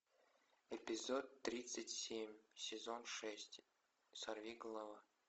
эпизод тридцать семь сезон шесть сорвиголова